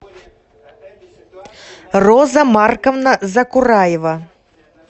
роза марковна закураева